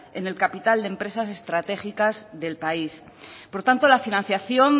en el capital de empresas estratégicas del país por tanto la financiación